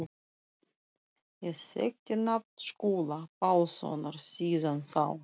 Ég þekkti nafn Skúla Pálssonar síðan þá.